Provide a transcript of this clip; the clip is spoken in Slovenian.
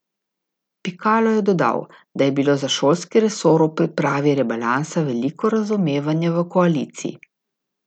Pikalo je dodal, da je bilo za šolski resor ob pripravi rebalansa veliko razumevanja v koaliciji.